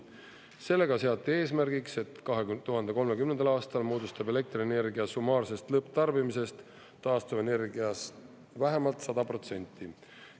Sellega seati eesmärgiks, et 2030. aastal moodustab elektrienergia summaarsest lõpptarbimisest taastuvenergia vähemalt 100%.